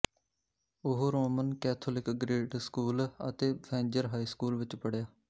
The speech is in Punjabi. ਉਹ ਰੋਮਨ ਕੈਥੋਲਿਕ ਗ੍ਰੇਡ ਸਕੂਲ ਅਤੇ ਫੈਂਜਰ ਹਾਈ ਸਕੂਲ ਵਿੱਚ ਪੜ੍ਹਿਆ